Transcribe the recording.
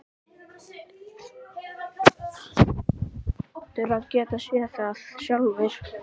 Þú hlýtur að geta séð það sjálfur.